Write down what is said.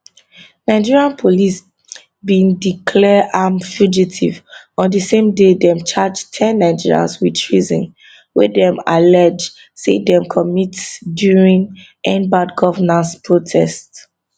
nigeria police bin declare am fugitive on di same day dem charge ten nigerians wit treason wey dem allege say dem commit during endbadgovernance protest